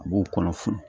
A b'o kɔnɔ funu